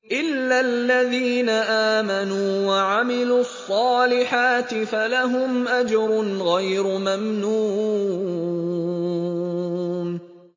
إِلَّا الَّذِينَ آمَنُوا وَعَمِلُوا الصَّالِحَاتِ فَلَهُمْ أَجْرٌ غَيْرُ مَمْنُونٍ